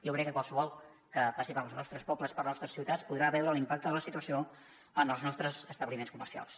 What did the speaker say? jo crec que qualsevol que passi pels nostres pobles per les nostres ciutats podrà veure l’impacte de la situació en els nostres establiments comercials